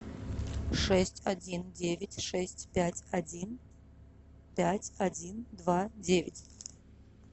шесть один девять шесть пять один пять один два девять